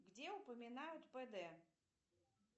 где упоминают пд